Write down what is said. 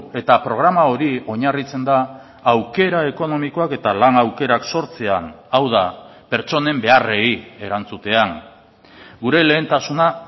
eta programa hori oinarritzen da aukera ekonomikoak eta lan aukerak sortzean hau da pertsonen beharrei erantzutean gure lehentasuna